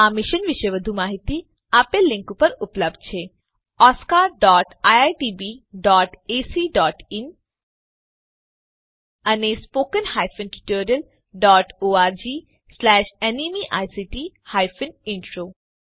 આ વિશે વધુ માહીતી આ લીંક ઉપર ઉપલબ્ધ છે oscariitbacઇન અને spoken tutorialorgnmeict ઇન્ટ્રો